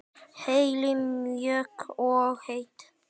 Helenu mjúk og heit.